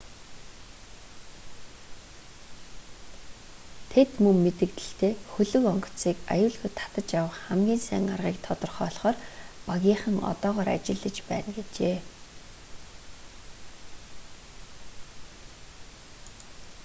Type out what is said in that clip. тэд мөн мэдэгдэлдээ хөлөг онгоцыг аюулгүй татаж авах хамгийн сайн аргыг тодорхойлохоор багийнхан одоогоор ажиллаж байна гэжээ